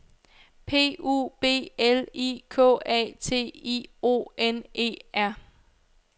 P U B L I K A T I O N E R